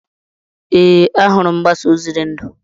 Ee, ahụrụ m mgbasa ozi dị ndụ.